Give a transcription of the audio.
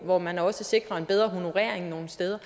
hvor man også sikrer en bedre honorering nogle steder